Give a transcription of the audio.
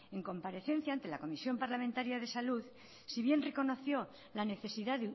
en comparecencia ante la comisión parlamentaria de salud sí bien reconoció la necesidad